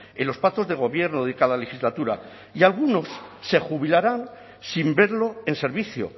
en los pactos de gobierno de cada legislatura y algunos se jubilarán sin verlo en servicio